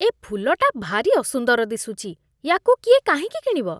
ଏ ଫୁଲଟା ଭାରି ଅସୁନ୍ଦର ଦିଶୁଛି । ୟାକୁ କିଏ କାହିଁକି କିଣିବ?